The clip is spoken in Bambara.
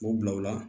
O bila o la